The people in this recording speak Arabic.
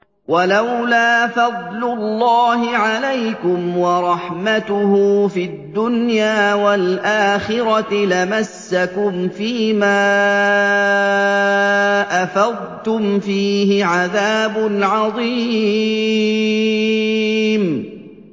وَلَوْلَا فَضْلُ اللَّهِ عَلَيْكُمْ وَرَحْمَتُهُ فِي الدُّنْيَا وَالْآخِرَةِ لَمَسَّكُمْ فِي مَا أَفَضْتُمْ فِيهِ عَذَابٌ عَظِيمٌ